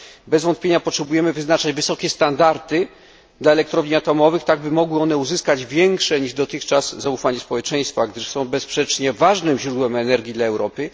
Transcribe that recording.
Bez wątpienia potrzebujemy wyznaczać wysokie standardy dla elektrowni atomowych tak, aby mogły one uzyskać większe niż dotychczas zaufanie społeczeństwa, gdyż są bezsprzecznie ważnym źródłem energii dla Europy.